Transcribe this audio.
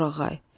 Torağay,